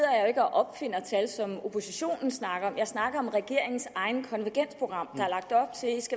opfinder tal som oppositionen snakker om jeg snakker om regeringens eget konvergensprogram